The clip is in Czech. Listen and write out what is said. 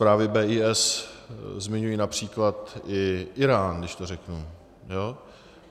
Zprávy BIS zmiňují například i Írán, když to řeknu.